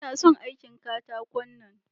Ina son aikin katakon nan.